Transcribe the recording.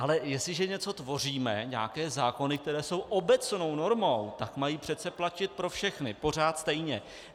Ale jestliže něco tvoříme, nějaké zákony, které jsou obecnou normou, tak mají přece platit pro všechny pořád stejně.